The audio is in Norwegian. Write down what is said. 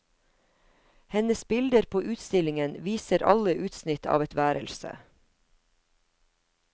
Hennes bilder på utstillingen viser alle utsnitt av et værelse.